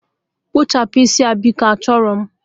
Kpụchapụm isi a biko, achọrọ m!